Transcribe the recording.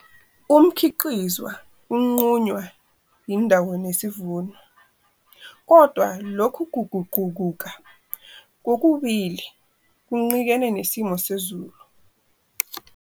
Umkhiqizwa unqunywa yindawo nesivuno, kodwa, lokhu kuguquguka kokubili kuncikene nesimo sezulu.